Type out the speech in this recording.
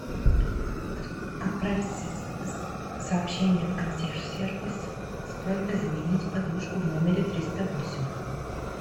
отправь сообщение в консьерж сервис с просьбой заменить подушку в номере триста восемь